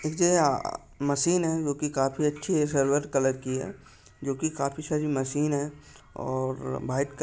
अ machine है जोकी काफी अच्छी है सिल्वर कलर की है जो की काफी सारी मशीन है और वाइट कलर --